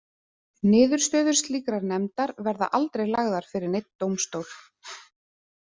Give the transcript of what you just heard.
Niðurstöður slíkrar nefndar verða aldrei lagðar fyrir neinn dómstól.